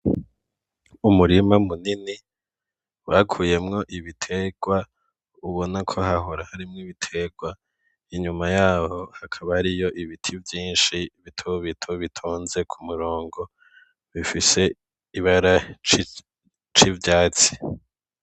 Umurima munini bakuyemwo ibiterwa ubona ko hahora harimwo ibiterwa inyuma yaho hakaba hariyo ibiti vyishi bitobito bitonze ku murongo bifise ibara ry'icatsi.